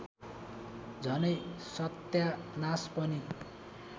झनै सत्यानास पनि